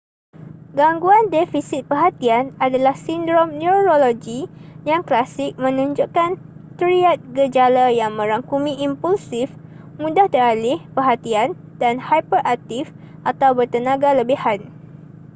gangguan defisit perhatian adalah sindrom neurologi yang klasik menunjukkan triad gejala yang merangkumi impulsif mudah teralih perhatian dan hiperaktif atau bertenaga lebihan